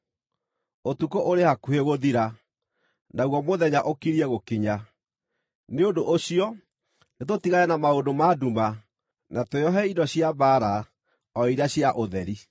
Ũtukũ ũrĩ hakuhĩ gũthira; naguo mũthenya ũkiriĩ gũkinya. Nĩ ũndũ ũcio nĩtũtigane na maũndũ ma nduma na twĩohe indo cia mbaara, o iria cia ũtheri.